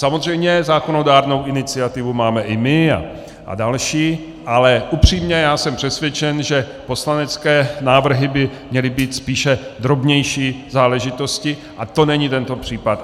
Samozřejmě zákonodárnou iniciativu máme i my a další, ale upřímně já jsem přesvědčen, že poslanecké návrhy by měly být spíše drobnější záležitostí, a to není tento případ.